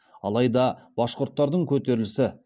алайда башқүрттардың көтерілісі